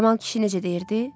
Kəmal kişi necə deyirdi?